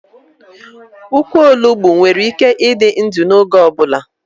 Ukwu Onugbu nwere ike ịdị ndụ n'oge ọ bụla